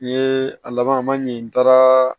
N ye a laban ma ɲin n taara